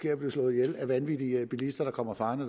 at blive slået ihjel af vanvittige bilister der kommer farende